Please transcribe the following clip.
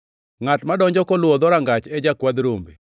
Ngʼat madonjo koluwo dhorangach e jakwadh rombe.